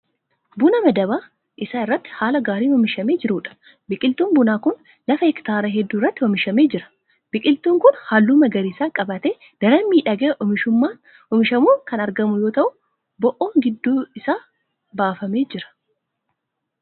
Buna madaba isaa irratti haala gaariin oomishamee jiruudha. Biqiltuun bunaa kun lafa hektaara hedduu irratti oomishamee jira. Biqiltuun kun halluu magariisa qabaatee daran miidhagee oomishamuun kan argamu yoo ta'u bo'oon gidduu isaa baafamee jira.